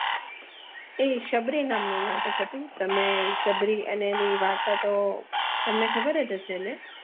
એ સબરી નામનું નાટક હતું તમને સાબરી અને તેની વાર્તા તો ખબર જ હશે ને